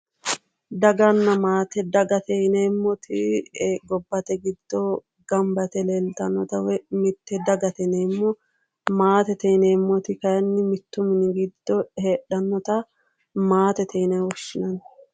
Daganna maate dagate yineemoti gobbate giddo ganibba yite leelitannota woyi mitte dagate yineemo maatete yineemoti kayinni mittu mini giddo heedhanota maatete yine woshinanni